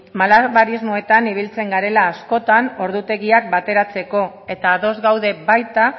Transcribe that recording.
malabarismoetan ibiltzen garela askotan ordutegiak bateratzeko eta ados gaude baita